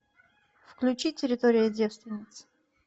включи территория девственниц